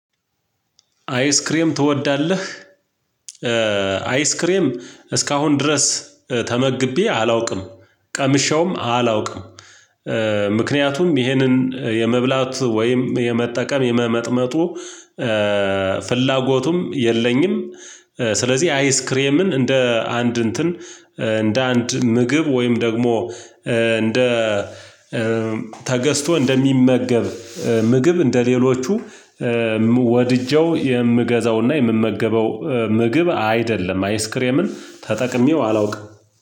አይስክሬም ትወዳለህ? አይስክሬም እስካሁን ድረስ ተመግቤ አላውቅም ቀምሼውም አላውቅም። ምክንያቱም ይሄንን የመብላት ወይም የመጠቀም የመመጥመጡ ፍላጎቱም የለኝም። ስለዚህ አይስክሬምን እንደ አንድ እንትን እንደ አንድ ምግብ ወይም ደግሞ እንደ ተገዝቶ እንደሚመገብ ምግብ እንደሌሎቹ ወድጄው የምገዛውና የምመገበው ምግብ አይደለም። አይስክሬምን ተጠቅሜው አላውቅም